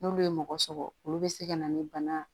N'olu ye mɔgɔ sɔrɔ olu bɛ se ka na ni bana